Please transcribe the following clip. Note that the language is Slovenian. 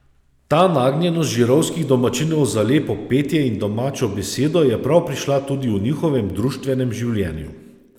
Ta nagnjenost žirovskih domačinov za lepo petje in domačo besedo je prav prišla tudi v njihovem društvenem življenju.